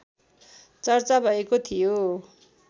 चर्चा भएको थियो